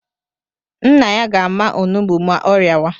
Nna ya ga-ama onugbu ma ọ rịawa